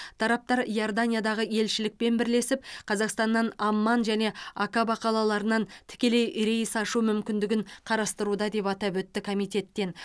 тараптар иорданиядағы елшілікпен бірлесіп қазақстаннан амман және акаба қалаларынан тікелей рейс ашу мүмкіндігін қарастыруда деп атап өтті комитеттен